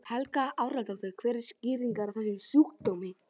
Helga Arnardóttir: Hver er skýringin á þessum sjúkdómi?